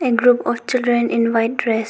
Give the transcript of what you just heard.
A group of children in white dress.